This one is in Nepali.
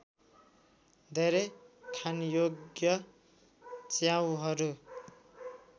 धेरै खानयोग्य च्याउहरू